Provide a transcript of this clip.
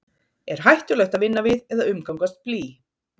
Er hættulegt að vinna við eða umgangast blý?